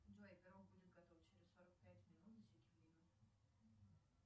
джой пирог будет готов через сорок пять минут засеки время